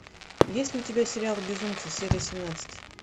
есть ли у тебя сериал безумцы серия семнадцать